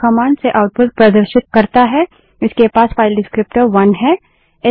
यह कमांड से आउटपुट प्रदर्शित करता है इसके पास फाइल डिस्क्रीप्टर विवरणक वन है